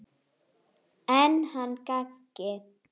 Mest undan brosinu þínu.